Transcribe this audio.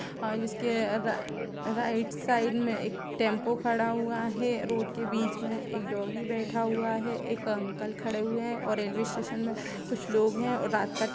और इसके right side में एक टेम्पो खड़ा हुआ है रोड के बीच में एक डौगी बैठा हुआ है एक अंकल खड़े हुए है और रेलवे स्टेशन मैं कुछ लोग है और रात का टा --